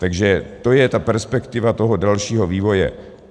Takže to je ta perspektiva toho dalšího vývoje.